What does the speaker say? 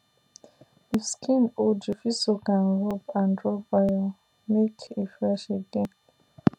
if skin old you fit soak and rub and rub oil make e fresh again